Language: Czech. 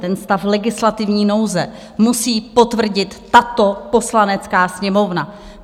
Ten stav legislativní nouze musí potvrdit tato Poslanecká sněmovna.